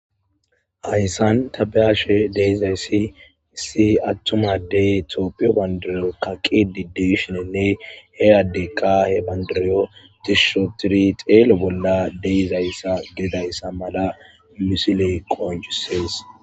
ayssan tabeashe deizayssi issi attumadey toopiyo bandiriyo kaqi di deshoninne he adde qaahe bandiriyo dishshotiri xeele bolla deizayssa gedayssa mala musile qonjusees